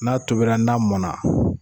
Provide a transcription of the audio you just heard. N'a tobira n'a mɔna.